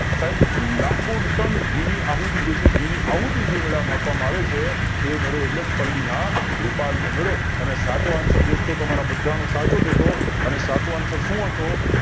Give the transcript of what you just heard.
સાઇબ લખો ટર્ન ઘી ની આહુતિ જે છે ઘી ની આહુતિ જે મેળા માં આપવામાં આવે છે તે મેળો એટલે પલ્લી ના ભોપાલ નો મેળો અને સાચો answer દોસ્તો તમારા બધાનો સારો જ હતો અને સાચો answer સુ હતો